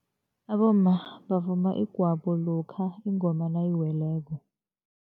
Abomma bavuma igwabo lokha ingoma nayiweleko.